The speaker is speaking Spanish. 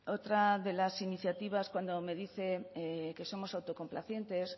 otra de las iniciativas cuando me dice que somos autocomplacientes